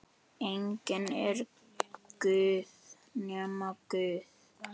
Enginn er guð nema Guð.